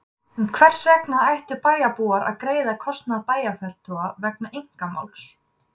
En hvers vegna ættu bæjarbúar að greiða kostnað bæjarfulltrúa vegna einkamáls?